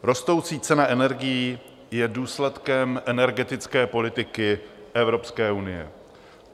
Rostoucí cena energií je důsledkem energetické politiky Evropské unie.